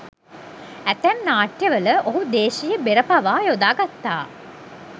ඇතැම් නාට්‍යවල ඔහු දේශීය බෙර පවා යොදා ගත්තා.